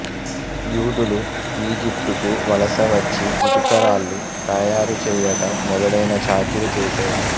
యూదులు ఈజిప్టుకు వలస వచ్చి ఇటుకరాళ్ళు తయారుచెయ్యటం మొదలైన చాకిరీ చేసేవారు